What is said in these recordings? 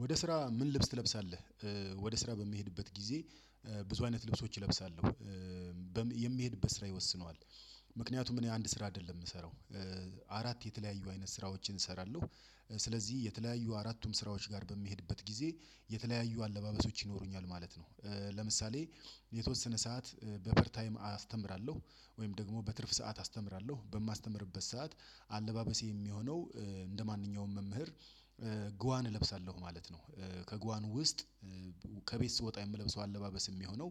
ወደ ስራ ምን ልብስ ትለብሳለህ? ወደ ስራ በሚሄድበት ጊዜ ብዙ አይነት ልብሶች እለብሳለሁ። የምሄድበት ስራ ይወስነዋል። ምክንያቱም እኔ አንድ ስራ አይደለም የምሰራው። አራት የተለያዩ አይነት ስራዎችን እሰራለሁ። ስለዚህ የተለያዩ አራቱም ስራዎች ጋር በሚሄድበት ጊዜ የተለያዩ አለባበሶች ይኖሩኛል ማለት ነው። ለምሳሌ የተወሰነ ሰዓት በፍሪ ታይም አስተምራለሁ ወይም ደግሞ በትርፍ ሰዓት አስተምራለሁ በማስተምርበት ሰዓት አለባበሴ የሚሆነው እንደማንኛውም መምህር ጓዋን እለብሳለሁ ማለት ነው። ከጓን ውስጥ ከቤት ስወጣ የምለብሰው አለባበስ የሚሆነው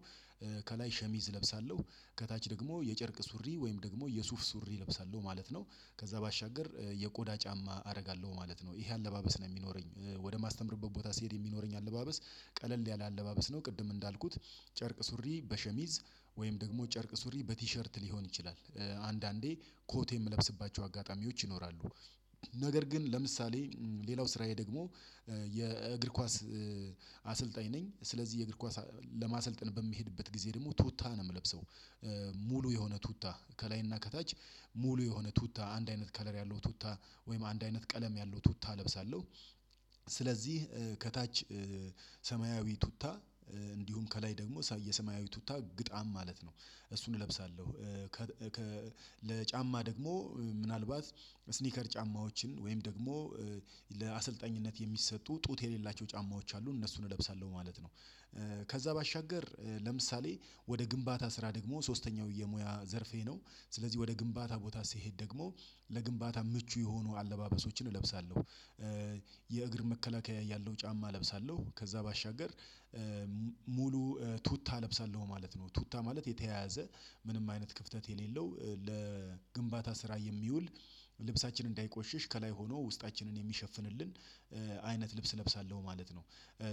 ከላይ ሸሚዝ እለብሳለሁ ከታች ደግሞ የጨርቅ ሱሪ ወይም ደግሞ የሱፍ ሱሪ እለብሳለሁ ማለት ነው። ከዛ ባሻገር የቆዳ ጫማ አደርጋለሁ ማለት ነው ይሄ አለባበስ ነው የሚኖረኝ። ወደ ማስተምርበት ቦታ ሲሄድ የሚኖረኝ አለባበስ ቀለል ያለ አለባበስ ነው ቅድም እንዳልኩት ጨርቅ ሱሪ በሸሚዝ ወይም ደግሞ ጨርቅ ሱሪ በቲሸርት ሊሆን ይችላል። አንዳንዴ ኮት የምለብስባቸው አጋጣሚዎች ይኖራሉ። ነገር ግን ለምሳሌ ሌላው ስራዬ ደግሞ የእግር ኳስ አሰልጣኝ ነኝ ስለዚህ የእግር ኳስ ለማሰልጠን በሚሄድበት ጊዜ ደግሞ ቱታ ነው የምለብሰው። ሙሉ የሆነ ቱታ ከላይና ከታች ሙሉ የሆነ ቱታ አንድ አይነት ከለር ያለው ቱታ ወይም አንድ አይነት ቀለም ያለው ቱታ እለብሳለሁ። ስለዚህ ከታች ሰማያዊ ቱታ እንዲሁም ከላይ ደግሞ የሰማያዊ ቱታ ግጣም ማለት ነው እሱን እለብሳለሁ። ለጫማ ደግሞ ምናልባት ስኒከር ጫማዎችን ወይም ደግሞ ለአሰልጣኝነት የሚሰጡ ጡት የሌላቸው ጫማዎች አሉ እነሱን እለብሳለሁ ማለት ነው። ከዛ ባሻገር ለምሳሌ ወደ ግንባታ ስራ ደግሞ ሶስተኛው የሙያ ዘርፌ ነው። ስለዚህ ወደ ግንባታ ቦታ ስሄድ ደግሞ ለግንባታ ምቹ የሆኑ አለባበሶችን እለብሳለሁ። የእግር መከላከያ ያለው ጫማ እለብሳለሁ ከዛ ባሻገር ሙሉ ቱታ ለብሳለሁ ማለት ነው ቱታ ማለት የተያያዘ ምንም አይነት ክፍተት የሌለው ለግንባታ ስራ የሚውል ልብሳችንን እንዳይቆሽሽ ከላይ ሆኖ ውስጣችንን የሚሸፍንልን አይነት ልብስ እለብሳለሁ ማለት ነው።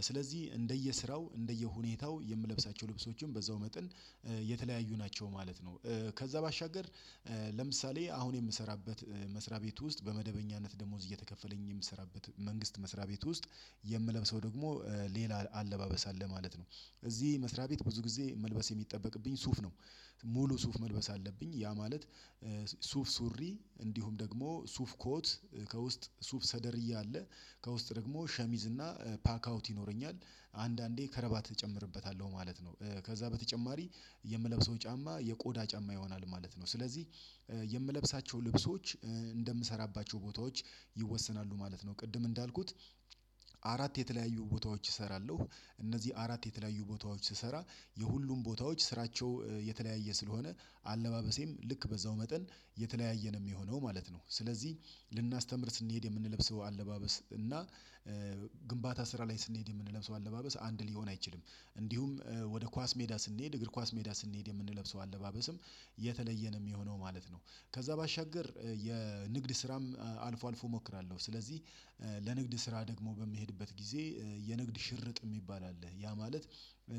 ስለዚህ እንደየስራው እንደየሁኔታው የምለብሳቸው ልብሶችም በዛው መጠን የተለያዩ ናቸው ማለት ነው። ከዛ ባሻገር ለምሳሌ አሁን የምሰራበት መስሪያ ቤት ውስጥ በመደበኛነት ደሞዝ እየተከፈለኝ የምሰራበት መንግስት መስሪያ ቤት ውስጥ የምለብሰው ደግሞ ሌላ አለባበስ አለ ማለት ነው። እዚህ መስሪያ ቤት ብዙ ጊዜ መልበስ የሚጠበቅብኝ ሱፍ ነው። ሙሉ ሱፍ መልበስ አለብኝ ያ ማለት ሱፍ ሱሪ እንዲሁም ደግሞ ሱፍ ኮት ከውስጥ ሱፍ ሰደርያ አለ ከውስጥ ደግሞ ሸሚዝ እና ፓክ አውት ይኖረኛል አንዳንዴ ከረባት እጨምርበታለሁ ማለት ነው። ከዛ በተጨማሪ የምለብሰው ጫማ የቆዳ ጫማ ይሆናል ማለት ነው። ስለዚህ የምለብሳቸው ልብሶች ቦታዎች ይወሰናሉ ማለት ነው ቅድም እንዳልኩት የተለያዩ ቦታዎች እሰራለሁ እነዚህ አራት የተለያዩ ቦታዎች ስሰራ የሁሉም ቦታዎች ስራቸው የተለያየ ስለሆነ አለባበሴም ልክ በዛው መጠን የተለያየ ነው ሚሆነው ማለት ነው። ስለዚህ ልናስተምር ስንሄድ የምንለብሰው አለባበስ እና ግንባታ ስራ ላይ ስንሄድ የምንለብሰው አለባበስ አንድ ሊሆን አይችልም። እንዲሁም ወደ ኳስ ሜዳ ስንሄድ እግር ኳስ ሜዳ ስንሄድ የምንለብሰው አለባበስም የተለየ ነው የሚሆነው ማለት ነው። ከዛ ባሻገር የንግድ ስራም አልፎ አልፎ እሞክራለሁ ስለዚህ ለንግድ ስራ ደግሞ በሚሄድበት ጊዜ የንግድ ሽርጥ የሚባል አለ ያ ማለት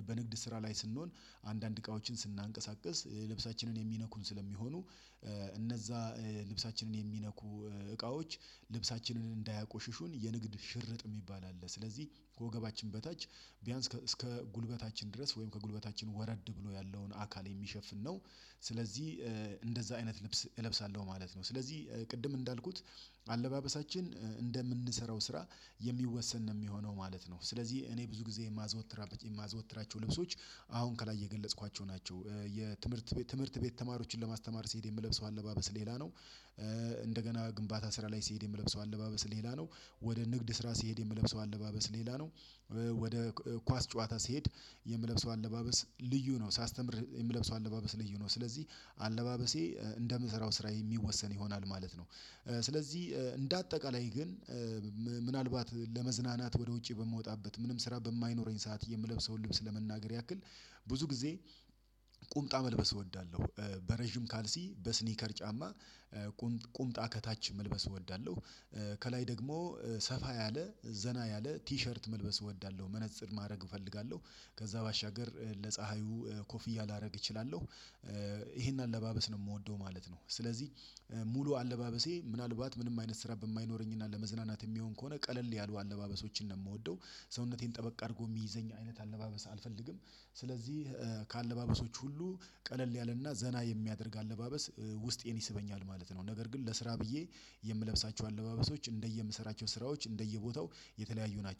በንግድ ስራ ላይ ስንሆን አንዳንድ እቃዎችን ስናንቀሳቅስ ልብሳችንን የሚነኩን ስለሚሆኑ እነዛ ልብሳችንን የሚነኩ እቃዎች ልብሳችንን እንዳያቆሽሹን የንግድ ሽርጥ የሚባል አለ ስለዚህ ወገባችን በታች ቢያንስ እስከ ጉልበታችን ድረስ ወይም ከጉልበታችን ወረድ ብሎ ያለውን አካል የሚሸፍን ነው። ስለዚህ እንደዛ አይነት ልብስ እለብሳለሁ ማለት ነው ስለዚህ ቅድም እንዳልኩት አለባበሳችን እንደምንሰራው ስራ የሚወሰን ነው የሚሆነው ማለት ነው። ስለዚህ እኔ ብዙ ጊዜ የማዘወትራለት የማዘወትራቸው ልብሶች አሁን ከላይ የገለጽኳቸው ናቸው። የትምህርት ቤት ትምህርት ቤት ተማሪዎችን ለማስተማር ሲሄድ የምለብሰው አለባበስ ሌላ ነው። እንደገና ግንባታ ስራ ላይ ሲሄድ የምለብሰው አለባበስ ሌላ ነው። ወደ ንግድ ስራ ሲሄድ የምለብሰው አለባበስ ሌላ ነው። ወደ ኳስ ጨዋታ ሲሄድ የምለብሰው አለባበስ ልዩ ነው ሳስተምር የምለብሰው አለባበስ ልዩ ነው ስለዚህ አለባበሴ እንደምሰራው ስራ የሚወሰን ይሆናል ማለት ነው። ስለዚህ እንደ አጠቃላይ ግን ምናልባት ለመዝናናት ወደ ውጪ በምወጣበት ምንም ስራ በማይኖረኝ ሰዓት የምለብሰውን ልብስ ለመናገር ያክል ብዙ ጊዜ ቁምጣ መልበስ እወዳለሁ። በረጅም ካልሲ በስኒከር ጫማ ቁምጣ ከታች መልበስ እወዳለሁ። ከላይ ደግሞ ሰፋ ያለ ዘና ያለ ቲሸርት መልበስ እወዳለሁ መነፅር ማድረግ እፈልጋለሁ ከዛ ባሻገር ለፀሀዩ ኮፍያ ላደርግ እችላለሁ። ይሄን አለባበስ ነው የምወደው ማለት ነው ስለዚህ ሙሉ አለባበሴ ምናልባት ምንም አይነት ስራ በማይኖረኝና ለመዝናናት የሚሆን ከሆነ ቀለል ያሉ አለባበሶችን ነው የምወደው። ሰውነቴን ጠበቅ አድርጎ የሚይዘኝ አይነት አለባበስ አልፈልግም። ስለዚህ ከአለባበሶች ሁሉ ቀለል ያለና ዘና የሚያደርግ አለባበስ ውስጤን ይስበኛል ማለት ነው። ነገር ግን ለስራ ብዬ የምለብሳቸው አለባበሶች እንደየምሰራቸው ስራዎች እንደየቦታው የተለያዩ ናቸው